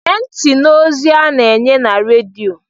Gee ntị n'ozi a na-enye na redio!